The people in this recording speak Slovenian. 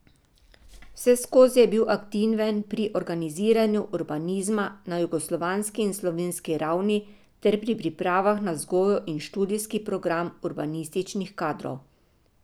Vseskozi je bil aktiven pri organiziranju urbanizma na jugoslovanski in slovenski ravni ter pri pripravah na vzgojo in študijski program urbanističnih kadrov.